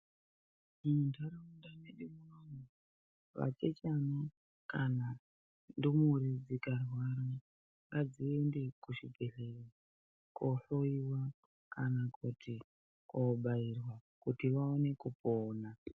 Muntaraunda medu muno, vachechana kana ndumure dzikarwara, ngadziende kuzvibhehlera kohloiwa kana kuti kobaiwa kuti vaone kupona.